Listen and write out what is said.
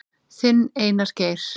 Þinn, Einar Geir.